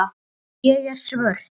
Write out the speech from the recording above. Ég er svört.